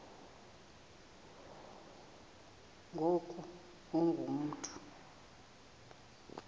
ngoku ungu mntu